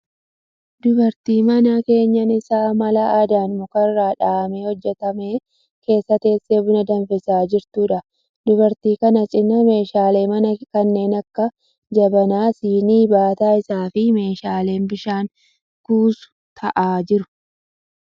Dubartii mana keenyan isaa mala aadaan muka irraa dhahamee hojjetame keessa teessee buna danfisaa jirtuudha. Dubartii kana cina meeshaaleen manaa kanneen akka jabanaa, sinii, baataa isaa, fi meeshaan bishaan kuusu ta'aa jiru.